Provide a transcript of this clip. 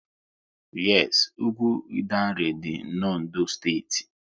Yes, ugwu Idanre dị n'Ondo steeti